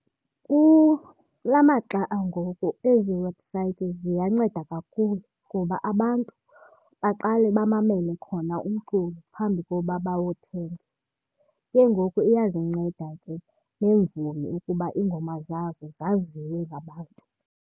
Kula maxa angoku ezi websites ziyanceda kakhulu ngoba abantu baqale bamamele khona umculo phambi koba bawuthenge. Ke ngoku iyazinceda ke neemvumi ukuba iingoma zazo zaziwe ngabantu.